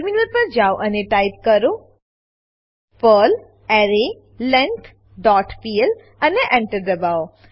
terminal પર જાવ અને ટાઈપ કરો પર્લ એરેલેંગ્થ ડોટ પીએલ અને Enter દબાવો